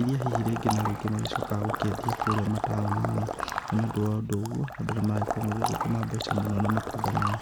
iria hihi rĩngĩ na rĩngĩ magĩkoragwo makĩendia kũrĩa matũni-inĩ .Na nĩ ũndũ wa ũndũ ũguo andũ nĩ maragĩkorwo magĩthũkũma mũno na matunda maya.